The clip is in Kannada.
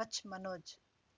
ಕಚ್ ಮನೋಜ್